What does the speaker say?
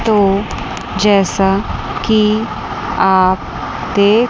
तो जैसा कि आप देख--